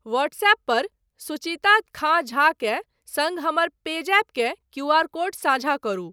WhatsApp पर सुचिता खाँ झा के सङ्ग हमर पेजैप के क्यूआर कोड साझा करू।